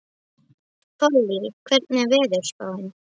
Pollý, hvernig er veðurspáin?